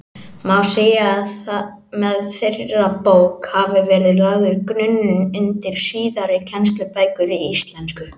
Má segja að með þeirri bók hafi verið lagður grunnurinn undir síðari kennslubækur í íslensku.